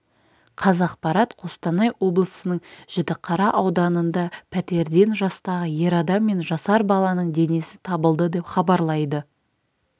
қазақпарат қостанай облысының жітіқара ауданында пәтерден жастағы ер адам мен жасар баланың денесі табылды деп хабарлайды